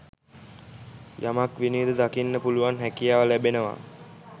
යමක් විනිවිද දකින්න පුළුවන් හැකියාව ලැබෙනවා.